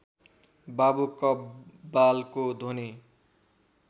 बाबु कव्वालको ध्वनि